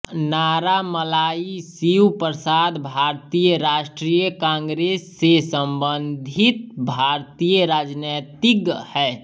नारामल्लाई शिवप्रसाद भारतीय राष्ट्रीय कांग्रेस से संबंधित भारतीय राजनीतिज्ञ हैं